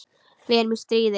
Við erum í stríði.